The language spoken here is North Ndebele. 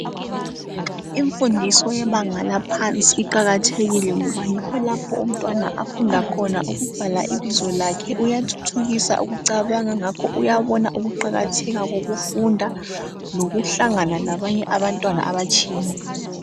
Imfundiso yebanga laphansi iqakathekile ngoba yikho lapho umntwana afunda khona ukubhala ibizo lakhe uyathuthukisa ukucabanga ngakho uyabona ukuqakatheka kokufunda lokuhlangana labanye abantwana abatshiyeneyo.